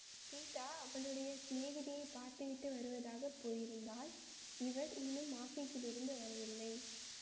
சீதா அவளுடைய சிநேகிதியைப் பார்த்துவிட்டு வருவதற்காகப் போயிருந்தாள் இவர் இன்னும் ஆபீஸிலிருந்து வரவில்லை